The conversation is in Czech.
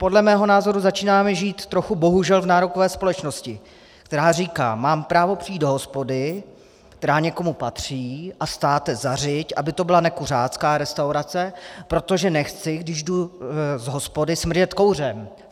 Podle mého názoru začínáme žít trochu bohužel v nárokové společnosti, která říká: Mám právo přijít do hospody, která někomu patří, a státe zařiď, aby to byla nekuřácká restaurace, protože nechci, když jdu z hospody, smrdět kouřem.